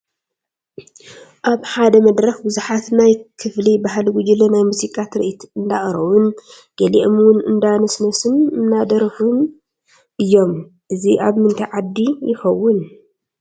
ኣብ ሓደ መድረኽ ብዙሓት ናይ ክፍሊ ባህሊ ጉጅለ ናይ ሙዚቃ ትርኢት እንዳቕረቡን ገሊኦም ውን እንዳደነሱን አንዳደረፉን እዮም፡፡ እዚ ኣብ ምንታይ ዓዲ ይኸውን?